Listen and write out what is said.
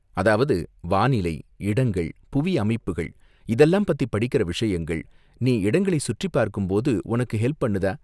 அதாவது வானிலை, இடங்கள், புவி அமைப்புகள் இதெல்லாம் பத்தி படிக்கிற விஷயங்கள், நீ இடங்களை சுற்றிபார்க்கும் போது உனக்கு ஹெல்ப் பண்ணுதா?